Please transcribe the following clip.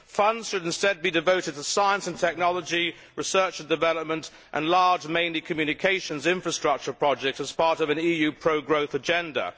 Funds should instead be devoted to science and technology, research and development and large mainly communications infrastructure projects as part of an EU pro growth agenda.